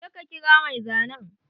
Je ka kira mai zanen!